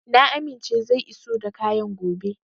Na amince zai iso da kayan gobe.